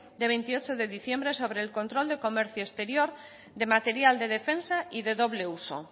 de veintiocho de diciembre sobre el control del comercio exterior de material de defensa y de doble uso